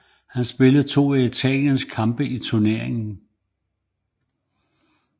Han spillede to af italienernes kampe i turneringen